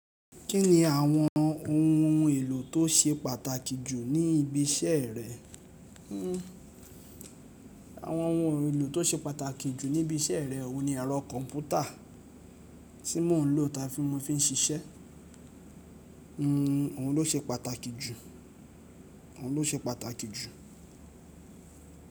Kí ni àwọn ohun èlò tó ṣe pàtàkì jù ní ibi iṣẹ́ rẹ? Àwọn ohun èlò tó ṣe pàtàkì jù ní ibi iṣẹ́ rẹ, òun ni ẹ̀rọ kọ̀ǹpútà tí mò ń lò tá fi mò ń fi ń ṣiṣẹ́. Òun ló ṣe pàtàkì jù, òun ló ṣe pàtàkì jù.